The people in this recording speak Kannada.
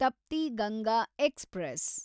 ತಪ್ತಿ ಗಂಗಾ ಎಕ್ಸ್‌ಪ್ರೆಸ್